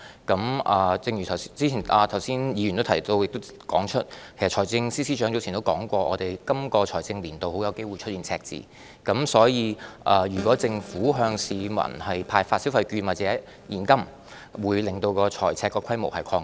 議員剛才亦指出，其實財政司司長早前已表示，今個財政年度有機會出現赤字，所以，如果政府向市民派發消費券或現金，便會令財赤規模擴大。